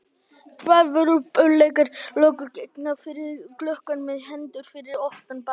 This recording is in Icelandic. Tvær vörpulegar löggur gengu fyrir gluggann með hendur fyrir aftan bak.